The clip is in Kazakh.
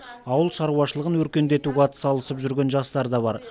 ауыл шаруашылығын өркендетуге атсалысып жүрген жастар да бар